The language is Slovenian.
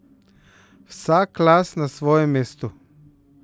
Vsak las na svojem mestu.